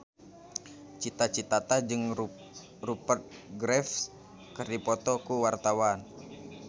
Cita Citata jeung Rupert Graves keur dipoto ku wartawan